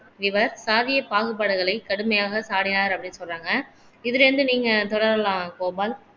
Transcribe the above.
இவர் சாதிய பாகுபாடுகளை கடுமையாக சாடினார் அப்படீன்னு சொல்றாங்க இதுல இருந்து நீங்க தொடரலாம் கோபால்